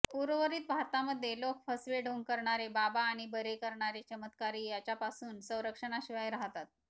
उर्वरित भारतामध्ये लोक फसवे ढोंग करणारे बाबा आणि बरे करणारे चमत्कारी याच्यापासुन संरक्षणाशिवाय राहतात